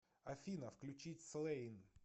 афина включить слэйн